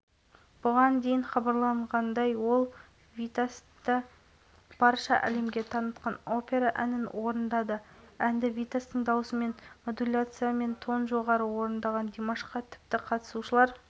қазақстан хоккейшілері үшінші кезеңді де жылдам шайба соғумен бастады кирилл савитский ойыншы басымдығында қарсыластардың осал тұсын